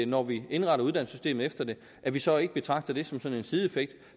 når vi indretter uddannelsessystemet efter det at vi så ikke betragter det som sådan en sideeffekt